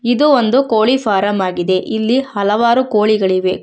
ಇದು ಒಂದು ಕೋಳಿ ಫಾರಮ್ ಆಗಿದೆ ಇಲ್ಲಿ ಹಲವಾರು ಕೋಳಿಗಳಿವೆ.